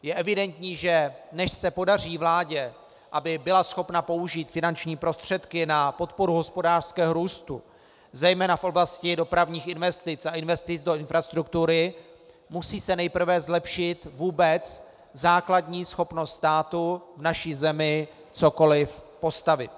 Je evidentní, že než se podaří vládě, aby byla schopna použít finanční prostředky na podporu hospodářského růstu zejména v oblasti dopravních investic a investic do infrastruktury, musí se nejprve zlepšit vůbec základní schopnost státu v naší zemi cokoli postavit.